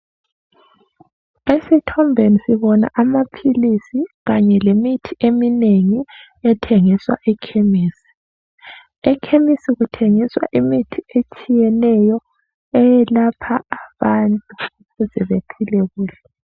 Esithombeni sibona amaphilisi kanye lemithi eminengi ethengiswa ekhemisi, ekhemesi kuthengiswa imithi etshiyeneyo eyelapha abantu kuze bephile kuhle.